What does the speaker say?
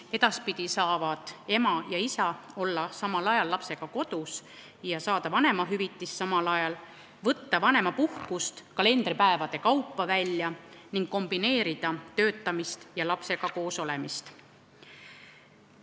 Edaspidi võivad ema ja isa olla samal ajal lapsega kodus ja saada samal ajal vanemahüvitist, vanemapuhkust saab võtta välja kalendripäevade kaupa ning saab kombineerida töötamist ja lapsega koosolemist.